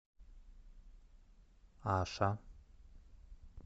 аша